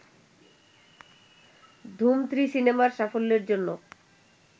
ধুম three সিনেমার সাফল্যের জন্য